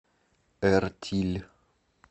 эртиль